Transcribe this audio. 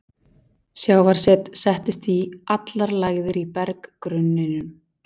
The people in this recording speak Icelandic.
Sjávarset settist í allar lægðir í berggrunninum.